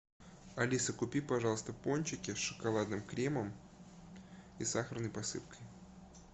алиса купи пожалуйста пончики с шоколадным кремом и сахарной посыпкой